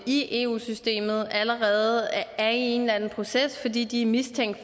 i eu systemet allerede er i en eller anden proces fordi de er mistænkt